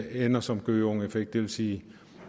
ender som en gøgeungeeffekt det vil sige